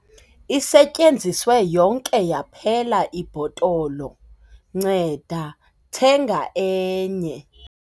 isetyenziswe yonke yaphela ibhotolo, nceda thenga enye